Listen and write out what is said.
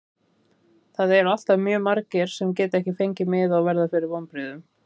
Það eru alltaf mjög margir sem geta ekki fengið miða og verða fyrir vonbrigðum.